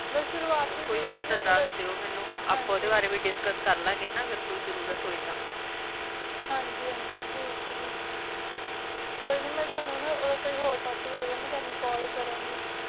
ਬਸ ਸੁਰੂਆਤੀ ਹੋਰ ਕੋਈ ਹੋਯਾ ਤਾ ਦਸ ਦਿਓ ਮਿਨੋ ਆਪਾਂ ਓ ਦੇ discuss ਗਾ ਨਾ ਅਗਰ ਕੋਈ ਜ਼ਰੋਰਤ ਹੋਈ ਤਾਂ ਹਨ ਜੀ ਹਨ ਜੀ ਠੇਆਕ ਆ ਗੀ ਹਮ ਕੋਈ ਨੀ ਮੈਂ ਤਨੁ ਨਾ ਅਗਰ ਕੋਈ ਹੋਰ ਟੋਪਿਕ ਹੋਆਯ ਗਾ ਮੈਂ ਤਨੁ ਕਾਲ ਕਰਨ ਗਿਣ